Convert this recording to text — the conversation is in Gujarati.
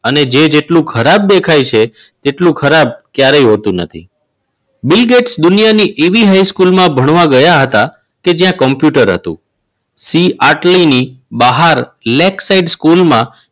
અને જે જેટલું ખરાબ દેખાય છે એટલું ખરાબ ક્યારેય હોતું નથી. બિલ ગેટ્સ દુનિયાની એવી હાઈસ્કૂલમાં ભણવા ગયા હતા કે જ્યાં કોમ્પ્યુટર હતું. ફી આટલી ની બહાર લેબ સાઇટ સ્કૂલમાં